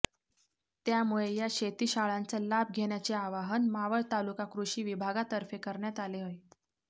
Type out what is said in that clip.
त्यामुळे या शेतीशाळांचा लाभ घेण्याचे आवाहन मावळ तालुका कृषी विभागातर्फे करण्यात आले आहे